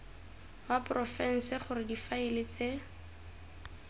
wa porofense gore difaele tse